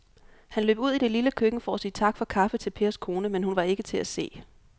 Han løb ud i det lille køkken for at sige tak for kaffe til Pers kone, men hun var ikke til at se.